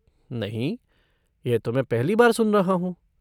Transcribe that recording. नहीं, यह तो मैं पहली बार सुन रहा हूँ।